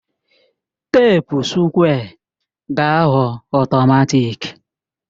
teepu sukwé ga-aghọ ọtọmatịk